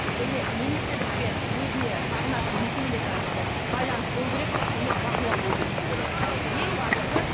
және министрлікпен өзіне бағынатын мекемелердің арасында байланыс болу керек және бақылау болу керек деп ойлаймын ең бастысы